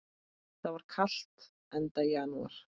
Það var kalt, enda janúar.